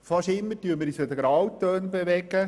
Fast immer bewegen wir uns in Grautönen.